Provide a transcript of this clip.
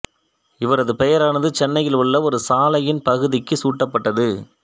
இவரது பெயரானது சென்னையில் உள்ள ஒரு சாலையின் பகுதிக்குச் சூட்டப்பட்டது